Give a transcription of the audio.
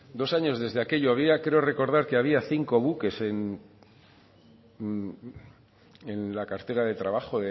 dos años desde aquello había creo recordar que había cinco buques en la cartera de trabajo